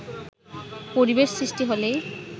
“পরিবেশ সৃষ্টি হলেই